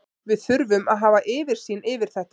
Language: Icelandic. Við þurfum að hafa yfirsýn yfir þetta.